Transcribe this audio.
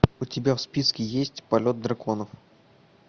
у тебя в списке есть полет драконов